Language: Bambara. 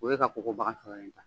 O ye ka kokobaga tɔ in ta